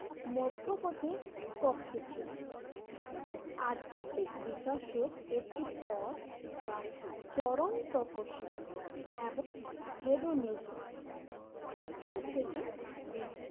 মধ্যপতির পক্ষে ছিলেন আধ্যাত্মিক বিকাশের একটি পথ যা চরম তপশিবাদ এবং হেডোনিজম উভয় থেকে বিচ্ছু